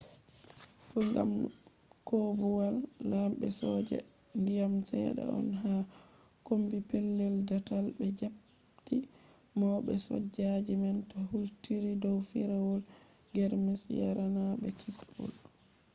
kogam koobuwal lambe soja diyam sedda on ha kommbi pellel daatal be japptii maube sojaji man do hultiri dow firawol germus yarananbe kippol